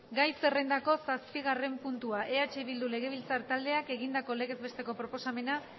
gai zerrendako zazpigarren puntua eh bildu legebiltzar taldeak egindako legez besteko proposamen